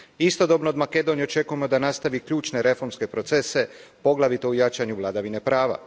Istodobno, od Makedonije očekujemo da nastavi ključne reformske procese, poglavito u jačanju vladavine prava.